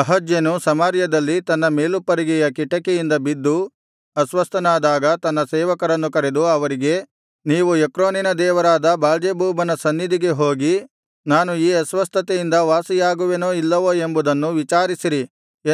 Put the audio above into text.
ಅಹಜ್ಯನು ಸಮಾರ್ಯದಲ್ಲಿ ತನ್ನ ಮೇಲುಪ್ಪರಿಗೆಯ ಕಿಟಿಕಿಯಿಂದ ಬಿದ್ದು ಅಸ್ವಸ್ಥನಾದಾಗ ತನ್ನ ಸೇವಕರನ್ನು ಕರೆದು ಅವರಿಗೆ ನೀವು ಎಕ್ರೋನಿನ ದೇವರಾದ ಬಾಳ್ಜೆಬೂಬನ ಸನ್ನಿಧಿಗೆ ಹೋಗಿ ನಾನು ಈ ಅಸ್ವಸ್ಥತೆಯಿಂದ ವಾಸಿಯಾಗುವೆನೋ ಇಲ್ಲವೋ ಎಂಬುದನ್ನು ವಿಚಾರಿಸಿರಿ